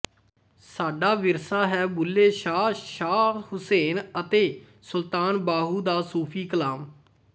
ਸਾਡਾ ਵਿਰਸਾ ਹੈ ਬੁੱਲ੍ਹੇ ਸ਼ਾਹ ਸ਼ਾਹ ਹੁਸੈਨ ਅਤੇ ਸੁਲਤਾਨ ਬਾਹੂ ਦਾ ਸੂਫ਼ੀ ਕਲਾਮ